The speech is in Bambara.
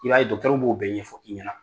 I b'a ye dɔgɔtɔriw bɛ o bɛ ɲɛfɔ i ɲɛna.